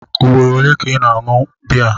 Ugboro ole ka ị na-aṅụ biya?